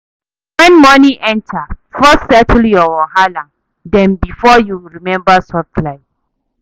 When money enter, first settle your wahala dem before you remember soft life.